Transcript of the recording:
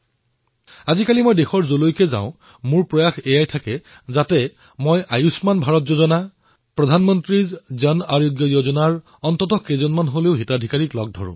আজিকালি দেশৰ যলৈ যাও তাতেই আয়ুষ্মান ভাৰতৰ যোজনা পিএমজেএৱাই অৰ্থাৎ প্ৰধানমন্ত্ৰী জন আৰোগ্য যোজনাৰ হিতাধিকাৰীসকলৰ সৈতে সাক্ষাৎ কৰাৰ প্ৰয়াস কৰো